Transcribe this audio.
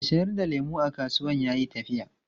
Mai sayar da lemu a kasuwan ya yi tafiya.